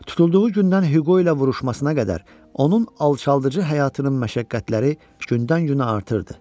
Tutulduğu gündən Hüqo ilə vuruşmasına qədər onun alçaldıcı həyatının məşəqqətləri gündən-günə artırdı.